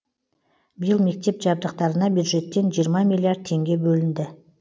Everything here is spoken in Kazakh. биыл мектеп жабдықтарына бюджеттен жиырма миллиард теңге бөлінді